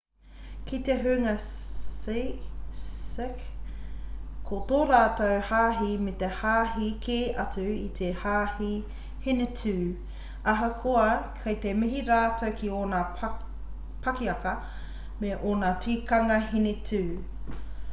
ki te hunga sikh ko tō rātou hāhi he hāhi kē atu i te hāhi hinitū ahakoa kei te mihi rātou ki ōna pakiaka me ōna tikanga hinitū